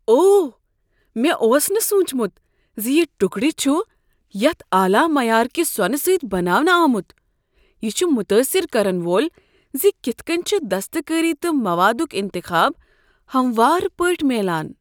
اوہ، مےٚ اوس نہٕ سوچمت ز یہ ٹکرٕ چھ یتِھہ اعلی معیار کہ سونہٕ سۭتۍ بناونہٕ آمت۔ یہ چھ متٲثر کرن وول ز کتھ کٔنۍ چھ دستکٲری تہٕ موادک انتخاب ہموار پٲٹھۍ میلان۔